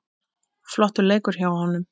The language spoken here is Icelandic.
Flottur leikur hjá honum.